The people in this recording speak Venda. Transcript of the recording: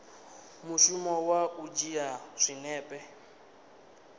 mushumo wa u dzhia zwinepe